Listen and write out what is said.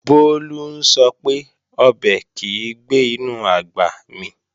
Bólú ń sọ pé, ọbẹ̀ kìí gbé inú àgbà mì